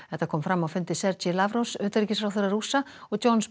þetta kom fram á fundi Sergei Lavrovs utanríkisráðherra Rússa og Johns